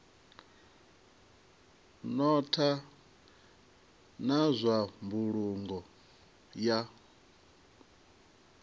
notha na zwa mbulungo ya